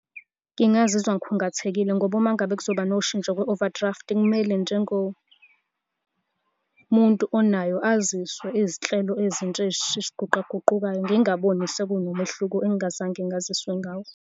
Ngingazizwa ngikhungathekile ngoba uma ngabe kuzoba noshintsho kwi-overdraft, kumele njengomuntu onayo, aziswe izinhlelo ezintsha eziguqaguqukayo. Ngingaboni sekunomehluko engingazange ngaziswe ngawo.